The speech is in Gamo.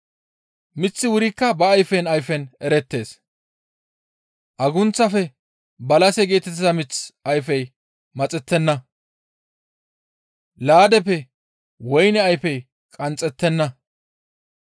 Miththi wurikka ba ayfen ayfen erettees; Agunththafe Balase geetettiza miththa ayfey maxettenna; laadeppe woyne ayfey qanxxettenna.